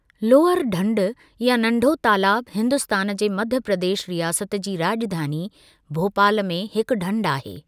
Lower ढंढ या नंढो तालाब हिन्दुस्तान जे मध्य प्रदेश रियासत जी राॼधानी, भोपाल में हिकु ढंढ आहे।